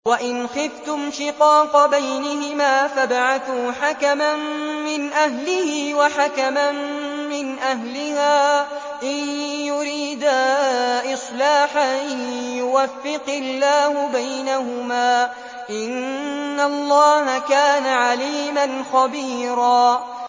وَإِنْ خِفْتُمْ شِقَاقَ بَيْنِهِمَا فَابْعَثُوا حَكَمًا مِّنْ أَهْلِهِ وَحَكَمًا مِّنْ أَهْلِهَا إِن يُرِيدَا إِصْلَاحًا يُوَفِّقِ اللَّهُ بَيْنَهُمَا ۗ إِنَّ اللَّهَ كَانَ عَلِيمًا خَبِيرًا